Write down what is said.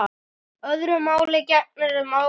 Öðru máli gegnir um ávexti.